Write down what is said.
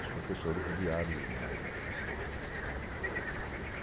Os professores judiaram de Mario covas.